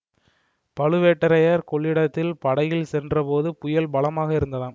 பழுவேட்டரையர் கொள்ளிடத்தில் படகில் சென்றபோது புயல் பலமாக இருந்ததாம்